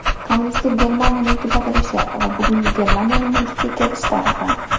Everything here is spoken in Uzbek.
Kommunistik Germaniyaning tugatilishi va bugungi Germaniyaning vujudga kelishi tarixi.